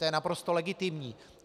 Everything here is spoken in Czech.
To je naprosto legitimní.